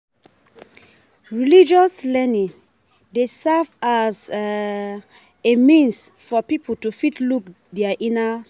Religious learning dey serve as um a means for pipo to fit look their inner